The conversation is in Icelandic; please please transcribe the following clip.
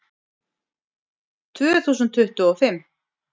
Tvö þúsund tuttugu og fimm